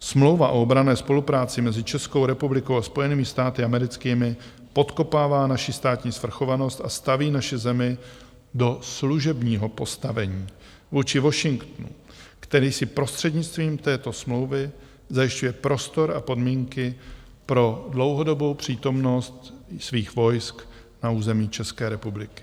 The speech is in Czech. Smlouva o obranné spolupráci mezi Českou republikou a Spojenými státy americkými podkopává naši státní svrchovanost a staví naši zemi do služebního postavení vůči Washingtonu, který si prostřednictvím této smlouvy zajišťuje prostor a podmínky pro dlouhodobou přítomnost svých vojsk na území České republiky.